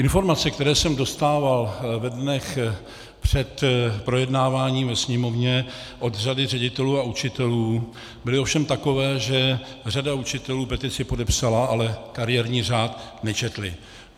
Informace, které jsem dostával ve dnech před projednáváním ve Sněmovně od řady ředitelů a učitelů, byly ovšem takové, že řada učitelů petici podepsala, ale kariérní řád nečetla.